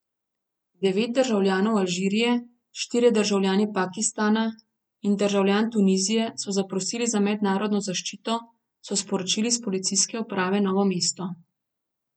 Devet državljanov Alžirije, štirje državljani Pakistana in državljan Tunizije so zaprosili za mednarodno zaščito, so sporočili s Policijske uprave Novo mesto.